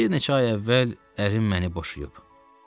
Bir neçə ay əvvəl ərim məni boşayıb.